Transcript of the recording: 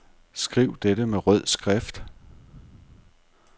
Skriv dette med rød skrift.